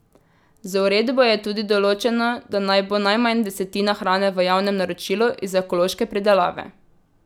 Z uredbo je tudi določeno, da naj bo najmanj desetina hrane v javnem naročilu iz ekološke pridelave.